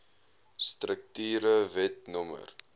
strukture wet no